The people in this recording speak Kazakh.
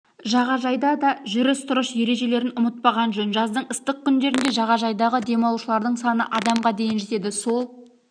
жағажайда да жүріс-тұрыс ережелерін ұмытпаған жөн жаздың ыстық күндерінде жағажайдағы демалушылардың саны адамға дейін жетеді сол